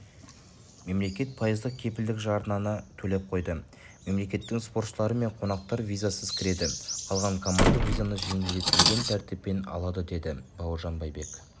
мемлекет пайыздық кепілдік жарнаны төлеп қойды мемлекеттің спортшылары мен қонақтар визасыз кіреді қалған команда визаны жеңілдетілген тәртіппен алады деді бауыржан байбек